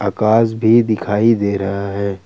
आकाश भी दिखाई दे रहा है।